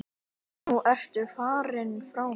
Nú ertu farinn frá mér.